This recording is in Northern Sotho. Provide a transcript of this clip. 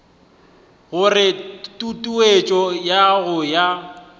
gore tutuetšo ya go ya